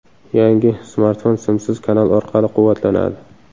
Yangi smartfon simsiz kanal orqali quvvatlanadi.